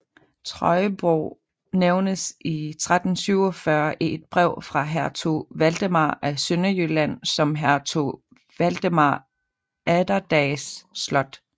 Trøjborg nævnes i 1347 i et brev fra hertug Valdemar af Sønderjylland som hertug Valdemar Atterdags slot